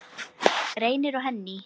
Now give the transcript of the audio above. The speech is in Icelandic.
Reynir og Henný.